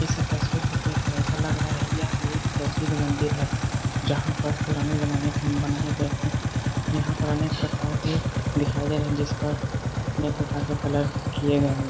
इस तस्वीर को देखकर ऐसा लग रहा है यह एक प्रसिद्ध मंदिर हैजहाँ पर पुराने जमाने के बनाए गए थे यहाँ पर अनेक प्रकार के दिखाई दे रहे हैं जिस पर एक प्रकार के कलर किए गए हैं।